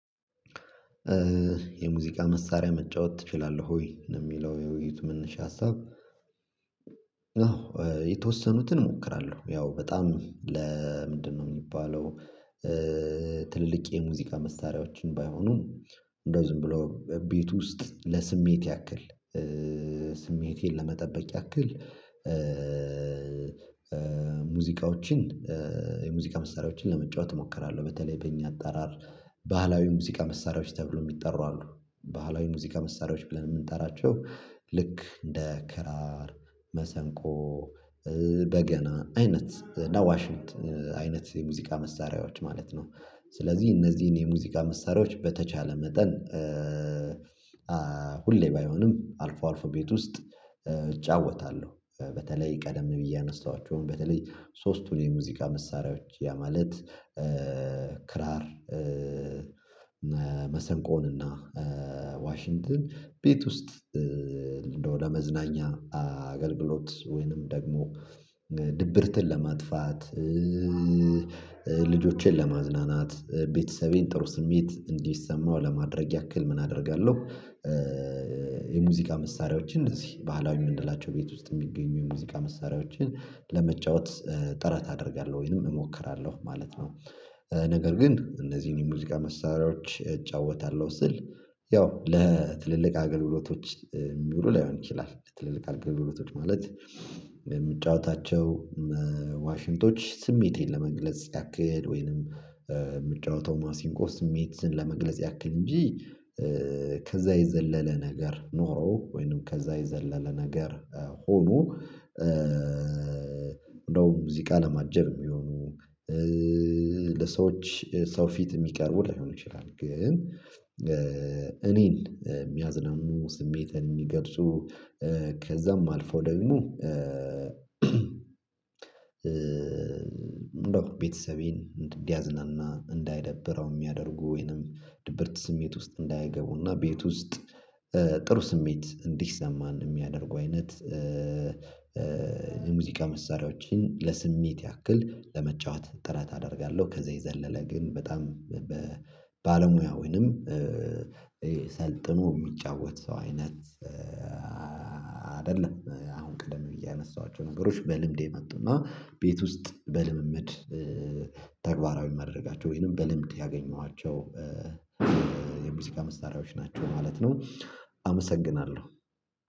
የሙዚቃ መሳሪያ መጫወት ትችላለህ ወይ ነው? የሚለው የውይይት መነሻ ሀሳብ። የተወሰኑትን እሞክራለሁ ያው በጣም ለምንድነው የሚባለው? ትልልቅ የሙዚቃ መሳሪያዎችን ባይሆኑም እንደው ዝም ብሎ ቤት ውስጥ ለስሜት ያክል ስሜቴን ለመጠበቅ ያክል ሙዚቃዎችን የሙዚቃ መሳሪያዎችን ለመጫወት እሞክራለሁ በተለይ በእኛ አጠራር ባህላዊ ሙዚቃ መሳሪያዎች ተብሎ የሚጠሩ አሉ ባህላዊ ሙዚቃ መሳሪያዎች ብለን የምንጠራቸው ልክ እንደ ክራር መሰንቆ በገና አይነት ዳዋሽ አይነት የሙዚቃ መሳሪያዎች ማለት ነው። ስለዚህ እነዚህን የሙዚቃ መሳሪያዎች በተቻለ መጠን ሁሌ ባይሆንም አልፎ አልፎ ቤት ውስጥ እጫወታለሁ። በተለይ ቀደም ብዬ ያነሳኋቸውን በተለይ ሶስቱን የሙዚቃ መሳሪያዎች ያ ማለት ክራር መሰንቆን እና ዋሽንትን ቤት ውስጥ እንደው ለ መዝናኛ አገልግሎት ወይንም ደግሞ ድብርትን ለማጥፋት ልጆችን ለማዝናናት ቤተሰቤን ጥሩ ስሜት እንዲሰማው ለማድረግ ያክል ምን አደርጋለሁ። የሙዚቃ መሳሪያዎችን እዚህ ባህላዊ ምንላቸው ቤት ውስጥ የሚገኙ የሙዚቃ መሳሪያዎችን ለመጫወት ጥረት አደርጋለሁ ወይንም እሞክራለሁ ማለት ነው። ነገር ግን እነዚህን የሙዚቃ መሳሪያዎች እጫወታለሁ ስል ያው ለትልልቅ አገልግሎቶች የሚውሉ ላይሆን ይችላል ለትልልቅ አገልግሎቶች ማለት የምጫወታቸው ዋሽንቶች ስሜቴን ለመግለጽ ያክል ወይንም ምጫወተው ማሲንቆ ስሜትን ለመግለጽ ያክል እንጂ ከዛ የዘለለ ነገር ኖሮ ወይንም ከዛ የዘለለ ነገር ሆኖ። እንደውም ሙዚቃ ለማጀብ የሚሆኑ ለሰዎች ሰው ፊት የሚቀርቡ ላይሆን ይችላል ግን እኔን የሚያዝናኑ ስሜትን የሚገልጹ ከዛም አልፎ ደግሞ ቤተሰቤን እንዲያዝናና እንዳይደብረው የሚያደርጉ ወይንም ድብርት ስሜት ውስጥ እንዳያገቡና ቤት ውስጥ ጥሩ ስሜት እንዲሰማን የሚያደርጉ አይነት የሙዚቃ መሳሪያዎችን ለስሜት ያክል ለመጫወት ጥረት አደርጋለሁ። ከዛ የዘለለ ግን በጣም ባለሙያ ወይንም ሰልጥኖ የሚጫወት ሰው አይነት አይደለም። አሁን ቀደም ብዬ ያነሳኋቸው ነገሮች በልምድ የመጡና ቤት ውስጥ በልምምድ ተግባራዊ ማደረጋቸው ወይንም በልምድ ያገኘኋቸው የሙዚቃ መሳሪያዎች ናቸው ማለት ነው። አመሰግናለሁ